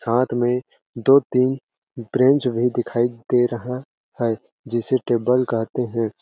साथ में दो तीन ब्रेंच भी दिखाई दे रहा है जिसे टेबल कहते है।